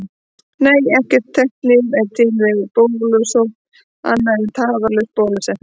Nei, ekkert þekkt lyf er til við bólusótt annað en tafarlaus bólusetning.